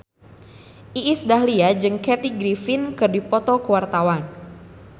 Iis Dahlia jeung Kathy Griffin keur dipoto ku wartawan